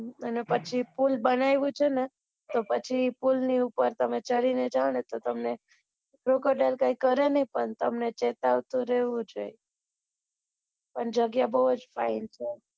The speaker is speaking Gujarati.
અને પછી પુલ બનાવ્યો છે ને તો અચી પુલ ની ઉપર તામ્ર ચડી ને જાઓ તો તમન crocodile કઈ કરે ની પણ તમને ચેતવતું રેવું જ જોઈએ પણ જગ્યા બૌ જ fine છે.